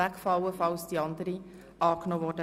Hier im Saal des Grossen Rats hört man ja manches.